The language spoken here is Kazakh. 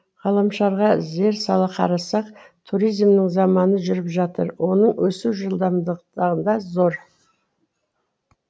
ғаламшарға зер сала қарасақ туризмнің заманы жүріп жатыр оның өсу жылдамдықтары зор